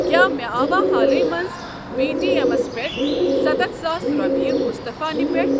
کیٛاہ مےٚ آوا حالٕے منٛز پے ٹی ایٚمس پٮ۪ٹھ ستتھ ساس رۄپیہِ مُصطفیٰ نہِ پٮ۪ٹھٕ؟